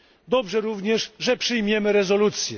Dobrze również, że przyjmiemy rezolucję.